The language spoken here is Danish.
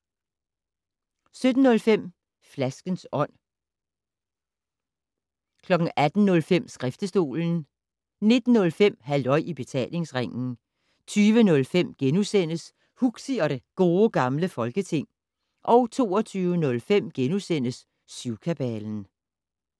17:05: Flaskens Ånd 18:05: Skriftestolen 19:05: Halløj i Betalingsringen 20:05: Huxi og det Gode Gamle Folketing * 22:05: Syvkabalen *